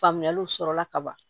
Faamuyaliw sɔrɔla ka ban